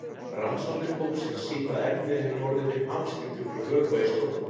Rannsóknir hópsins sýna að efnið hefur orðið fyrir hamskiptum frá vökva í storku.